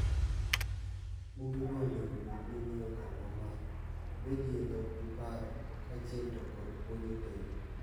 Buge go onego bed ninie okang' mamalo. Obedi e dhok gi paro, kaachiel to kod puonjo timbe.